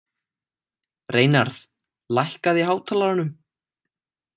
Reynarð, lækkaðu í hátalaranum.